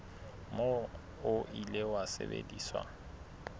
moo o ile wa sebediswa